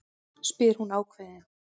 spyr hún ákveðin.